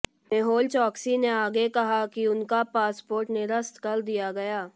मेहुल चौकसी ने आगे कहा है कि उनका पासपोर्ट निरस्त कर दिया गया